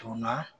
Donna